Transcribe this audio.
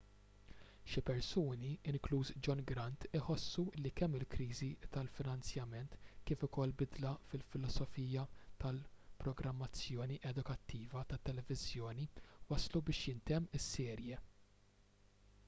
xi persuni inkluż john grant iħossu li kemm il-kriżi tal-finanzjament kif ukoll bidla fil-filosofija tal-programmazzjoni edukattiva tat-televiżjoni wasslu biex jintemm is-serje